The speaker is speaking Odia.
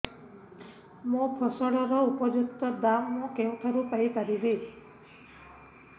ମୋ ଫସଲର ଉପଯୁକ୍ତ ଦାମ୍ ମୁଁ କେଉଁଠାରୁ ପାଇ ପାରିବି